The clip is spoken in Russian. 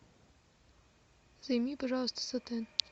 займи пожалуйста сотен